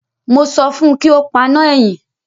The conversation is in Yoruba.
Mo sọ fún un kí ó paná ẹ̀yìn.